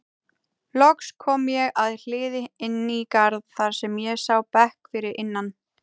Loks kom ég að hliði inn í garð þar sem ég sá bekk fyrir innan.